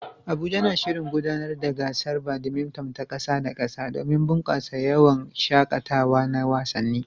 Abuja na shirin gudanar da gasar badminton ta ƙasa da ƙasa domin bunƙasa yawon shaƙatawa na wasanni.